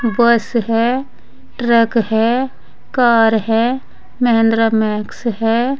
बस है ट्रक है कार है महिंद्रा मैक्स है।